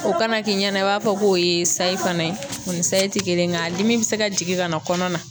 O kana k'i ɲɛna i b'a fɔ k'o ye sayi fana ye. O ni sayi ti kelen ye nka dimi bɛ se ka jigin ka na kɔnɔna na.